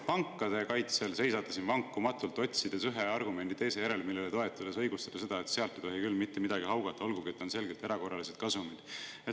Pankade kaitsel seisate siin vankumatult, otsides ühe argumendi teise järel, millele toetudes õigustada seda, et sealt ei tohi küll mitte midagi haugata, olgugi et on selgelt erakorralised kasumid.